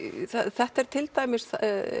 þetta er til dæmis